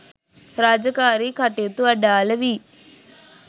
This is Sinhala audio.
රාජකාරී කටයුතු අඩාල වී